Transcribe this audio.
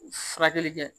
Furakɛli kɛ